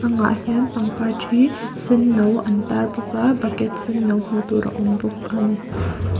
hian pangpar thi senno an tar bawk a bucket senno hmuh tur a awm bawk ani.